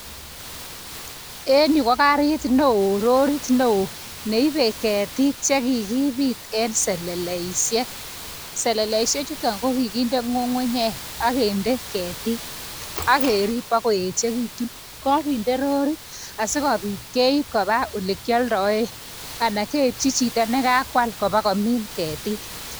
En yu ko garit newo, rorit newo neibe keetik chekikikbit en seleisiek. Seleleisiek chuton ko kinde ngungunyek ak kinde keetik ak keerib bokoyechekitun. Kokinde rorit asikobiit keib koba olekioldoen, anan keibchii chito nekakwal ibakomin keetik.